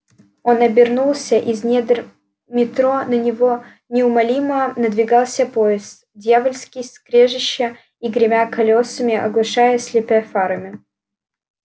он обернулся из недр метро на него неумолимо надвигался поезд дьявольски скрежеща и гремя колёсами оглушая и слепя фарами